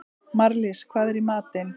Marlís, hvað er í matinn?